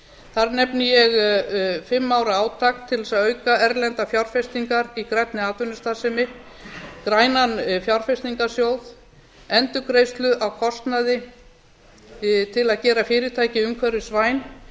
þar nefni ég fimm ára átak til að auka erlendar fjárfestingar í grænni atvinnustarfsemi grænan fjárfestingarsjóð endurgreiðslu á kostnaði við að gera fyrirtæki umhverfisvæn